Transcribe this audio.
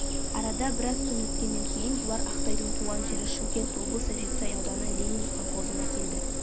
арада біраз күн өткеннен кейін бұлар ақтайдың туған жері шымкент облысы жетісай ауданы ленин колхозына келді